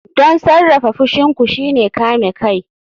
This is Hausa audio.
Don sarrafa fushin ku shine kame kai.